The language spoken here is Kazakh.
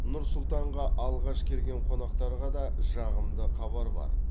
нұр сұлтанға алғаш келген қонақтарға да жағымды хабар бар